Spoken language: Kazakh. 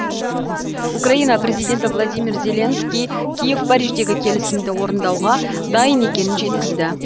украина президенті владимир зеленский киев париждегі келісімді орындауға дайын екенін жеткізді